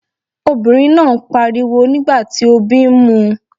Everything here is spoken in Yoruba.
Obìnrin náà ń pariwo nígbà tí obí ń mu.